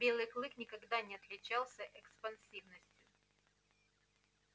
белый клык никогда не отличался экспансивностью